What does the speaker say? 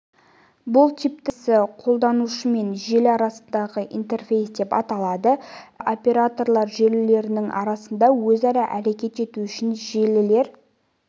бұл типтің интерфейсі қолданушы мен желі арасындағы интерфейс деп аталады әр түрлі операторлар желілерінің арасында өзара әрекет ету үшін желілер